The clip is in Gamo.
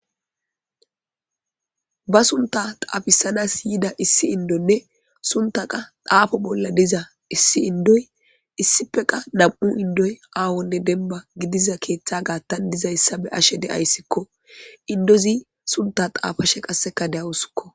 Ba sunththa xaafisada siyida issi inddonne sunththa qa xaafo bolla diza issi inddoy issippe qa nam7u inddoy awanne dembba gidiza keeththa gaatan dizayssa be7ashe de7askko. Inddozi sunththa xaafashe qassekka dawusskko